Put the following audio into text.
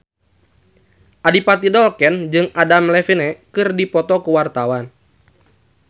Adipati Dolken jeung Adam Levine keur dipoto ku wartawan